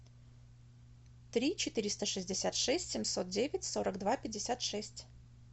три четыреста шестьдесят шесть семьсот девять сорок два пятьдесят шесть